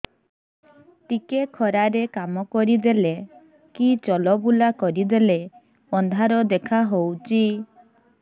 ଟିକେ ଖରା ରେ କାମ କରିଦେଲେ କି ଚଲବୁଲା କରିଦେଲେ ଅନ୍ଧାର ଦେଖା ହଉଚି